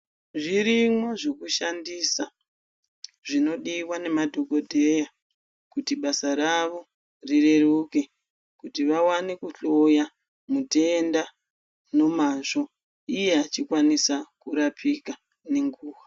Zvirimo zvekushandisa zvinodiwa nemadhogodheya kuti basa ravo rireruke kuti vawane kuhloya mutenda nemazvo iye achikwanise kurapika nenguwa.